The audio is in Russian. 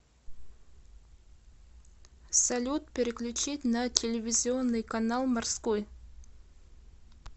салют переключить на телевизионный канал морской